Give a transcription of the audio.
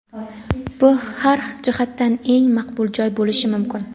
Bu har jihatdan eng maqbul joy bo‘lishi mumkin.